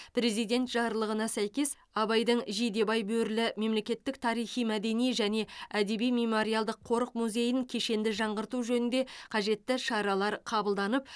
президент жарлығына сәйкес абайдың жидебай бөрілі мемлекеттік тарихи мәдени және әдеби мемориалдық қорық музейін кешенді жаңғырту жөнінде қажетті шаралар қабылданып